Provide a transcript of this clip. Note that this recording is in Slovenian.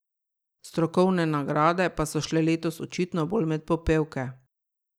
Strokovne nagrade pa so šle letos očitno bolj med popevke.